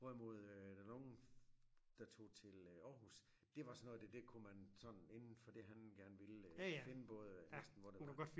hvorimod øh der nogle der tog til øh Aarhus det var sådan noget det det kunne man sådan indenfor det han gerne ville øh finde både øh næsten hvor det var